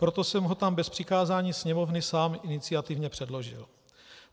Proto jsem ho tam bez přikázání Sněmovny sám iniciativně předložil.